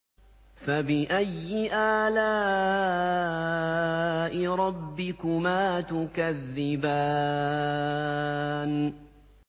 فَبِأَيِّ آلَاءِ رَبِّكُمَا تُكَذِّبَانِ